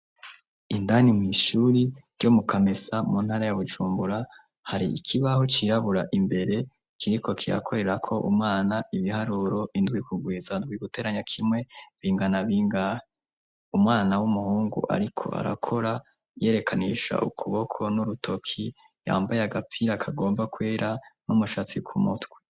indani mw' ishuri ryo mukamesa muntara ya bujumbura hari ikibaho cirabura imbere kiriko kikorerako umwana ibiharuro indwi kugwiza indwi guteranya kimwe bingana bingahe umwana w'umuhungu ariko arakora yerekanisha ukuboko n'urutoki yambaye agapira akagomba kwera n'umushatsi kumutwe